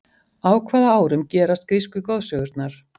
á hvaða árum gerast grísku goðsögurnar